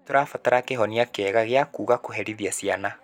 Nĩ tũrabatara kĩhonia kĩega gia kũũga kũherithĩa ciana.